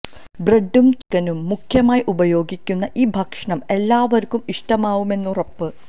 ബ്ര്ഡും ചിക്കനും മുഖ്യമായി ഉപയോഗിക്കുന്ന ഈ ഭക്ഷണം എല്ലാവര്ക്കും ഇഷ്ടമാവുമെന്ന് ഉറപ്പ്